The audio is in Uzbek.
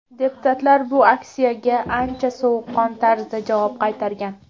Deputatlar bu aksiyaga ancha sovuqqon tarzda javob qaytargan.